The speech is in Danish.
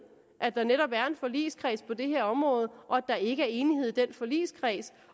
at der netop er en forligskreds på det her område og at der ikke er enighed i den forligskreds